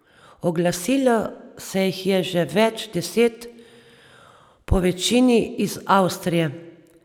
Oglasilo se jih je že več deset, povečini iz Avstrije.